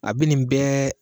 A bi nin bɛɛ